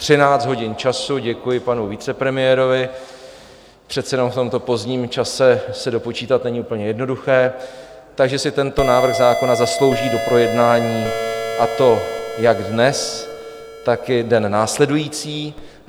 Třináct hodin času, děkuji panu vicepremiérovi, přece jen v tomto pozdním čase se dopočítat není úplně jednoduché, tak že si tento návrh zákona zaslouží doprojednání, a to jak dnes, tak i den následující.